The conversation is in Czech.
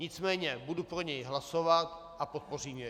Nicméně budu pro něj hlasovat a podpořím jej.